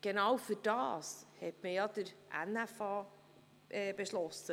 Genau dafür hat man den NFA beschlossen.